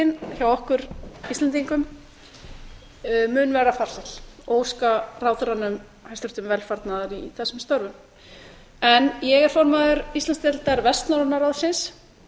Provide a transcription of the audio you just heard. formennskutíðin hjá okkur íslendingum mun verða farsæl og óska ráðherranum hæstvirta velfarnaðar í þessum störfum ég er formaður íslandsdeildar vestnorræna ráðsins